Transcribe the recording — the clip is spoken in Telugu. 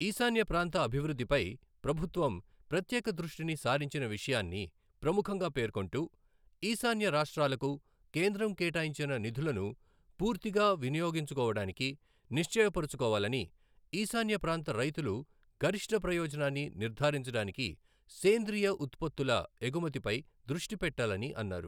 ఈశాన్యప్రాంత అభివృద్ధిపై ప్రభుత్వం ప్రత్యేక దృష్టిని సారించిన విషయాన్ని ప్రముఖంగా పేర్కొంటూ ఈశాన్య రాష్ట్రాలకు కేంద్రం కేటాయించిన నిధులను పూర్తిగా వినియోగించుకోవడానికి నిశ్చయపరచుకోవాలని , ఈశాన్య ప్రాంత రైతులు గరిష్ట ప్రయోజనాన్నినిర్ధారించడానికి సేంద్రీయ ఉత్పత్తుల ఎగుమతిపై దృష్టి పెట్టాలని అన్నారు.